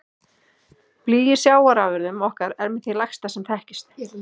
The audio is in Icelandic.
Blý í sjávarafurðum okkar er með því lægsta sem þekkist.